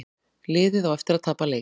Liðið á eftir að tapa leik